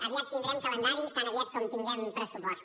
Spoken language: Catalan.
aviat tindrem calendari tan aviat com tinguem pressupost